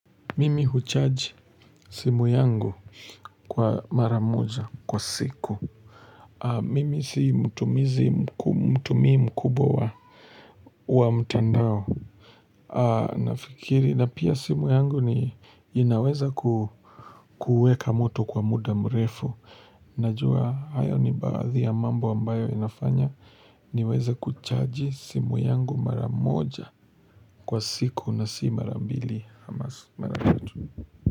Mimi hucharge simu yangu kwa mara moja kwa siku Mimi si mtumizi mtumimu mkubwa wa mtandao na fikiri na pia simu yangu ni inaweza ku kuweka mtu kwa muda mrefu Najua hayo ni baadhi ya mambo ambayo inafanya niweza kuchaji simu yangu mara moja kwa siku na si mara mbili ama mara tatu.